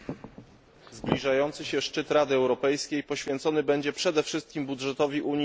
Zbliżający się szczyt Rady Europejskiej poświęcony będzie przede wszystkim budżetowi Unii na lata